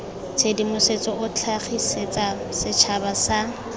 tshedimosetso o tlhagisetsa setšhaba sa